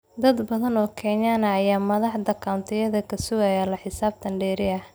Dad badan oo Kenyaan ah ayaa madaxda countiyada ka sugaya la xisaabtan dheeri ah.